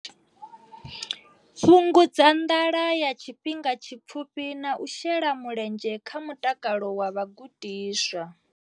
Fhungudza nḓala ya tshifhinga tshipfufhi na u shela mulenzhe kha mutakalo wa vhagudiswa.